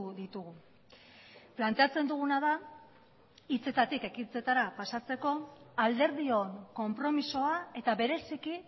ditugu planteatzen duguna da hitzetatik ekintzetara pasatzeko alderdion konpromisoa eta bereziki